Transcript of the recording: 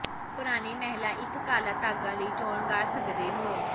ਪੁਰਾਣੇ ਮਹਿਲਾ ਇੱਕ ਕਾਲਾ ਧਾਗਾ ਲਈ ਚੋਣ ਕਰ ਸਕਦੇ ਹੋ